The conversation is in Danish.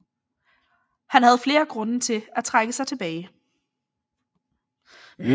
Han havde flere grunde til at trække sig tilbage